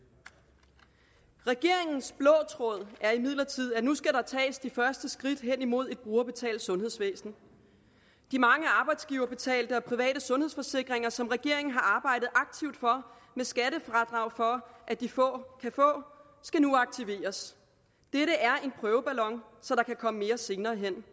regeringens blå tråd er imidlertid at der nu skal tages de første skridt hen imod et brugerbetalt sundhedsvæsen de mange arbejdsgiverbetalte og private sundhedsforsikringer som regeringen har arbejdet aktivt for med skattefradrag for at de få kan få skal nu aktiveres dette er en prøveballon så der kan komme mere senere hen